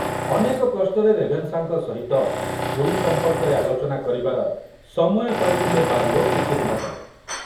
ଅନେକ କଷ୍ଟରେ ରେଭେନ୍ସାଙ୍କ ସହିତ ପୁରୀ ସମ୍ପର୍କରେ ଆଲୋଚନା କରିବାର ସମୟ ପାଇଥିଲେ ବାର୍ଲୋ କିଛି ଦିନ ତଳେ।